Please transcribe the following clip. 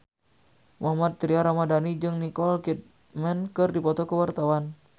Mohammad Tria Ramadhani jeung Nicole Kidman keur dipoto ku wartawan